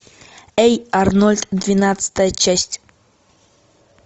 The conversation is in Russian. эй арнольд двенадцатая часть